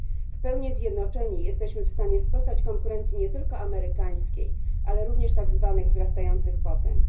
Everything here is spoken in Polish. W pełni zjednoczeni jesteśmy w stanie sprostać konkurencji nie tylko amerykańskiej, ale również konkurencji tak zwanych wzrastających potęg.